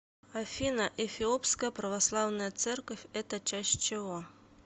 афина эфиопская православная церковь это часть чего